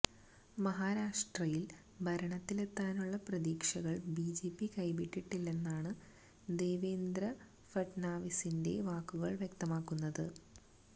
മഹാരാഷ്ട്രയില് ഭരണത്തിലെത്താനുള്ള പ്രതീക്ഷകള് ബിജെപി കൈവിട്ടിട്ടില്ലെന്നാണ് ദേവേന്ദ്ര ഫട്നാവിസിന്റെ വാക്കുകള് വ്യക്തമാക്കുന്നത്